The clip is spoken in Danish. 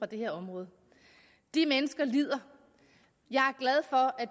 det her område de mennesker lider jeg